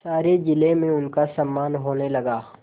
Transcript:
सारे जिले में उनका सम्मान होने लगा